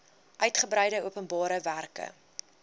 uigebreide openbare werke